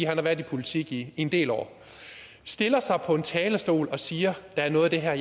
har været i politik i en del år stiller sig op på talerstolen og siger at der er noget af det her